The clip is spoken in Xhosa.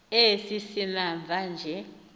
esi simamva nje